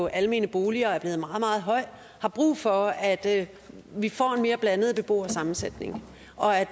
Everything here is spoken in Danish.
almene boliger er blevet meget meget høj har brug for at vi får en mere blandet beboersammensætning og at